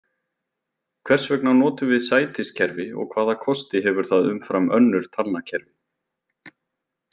Hvers vegna notum við sætiskerfi og hvaða kosti hefur það umfram önnur talnakerfi?